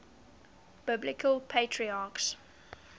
biblical patriarchs